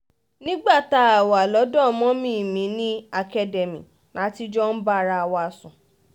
nígbà tá a wà lọ́dọ̀ mummy mi ní academy la ti jọ ń bára wa sùn